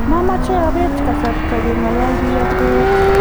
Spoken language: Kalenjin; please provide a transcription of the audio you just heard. mamche apet kasarta keng'ololi ak kibet